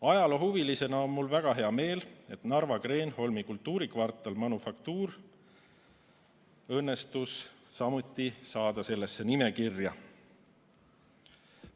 Ajaloohuvilisena on mul väga hea meel, et Narva Kreenholmi kultuurikvartal Manufaktuur õnnestus samuti sellesse nimekirja saada.